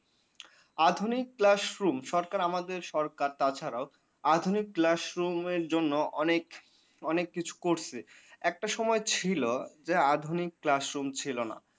আধুনিক class room সরকার আমাদের সরকার তাছাড়াও আধুনিক classroom জন্য busy অনেককিছু করছে। একটা সময় ছিল যে আধুনিক class room ছিলনা।